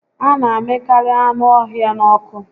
A na amịkarị anụ ọhịa n'ọkụ